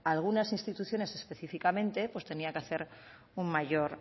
algunas instituciones específicamente tenía que hacer un mayor